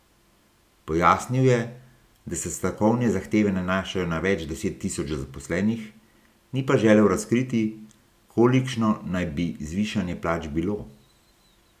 Pojasnil je, da se stavkovne zahteve nanašajo na več deset tisoč zaposlenih, ni pa želel razkriti, kolikšno naj bi zvišanje plač bilo.